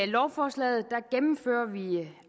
lovforslaget gennemfører vi